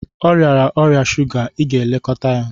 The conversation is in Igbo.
Ọ rịara ọrịa shuga, ị ga-elekọta ya!